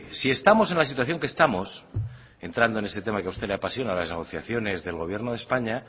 si estamos en la situación que estamos entrando en ese tema que a usted le apasiona las negociaciones del gobierno de españa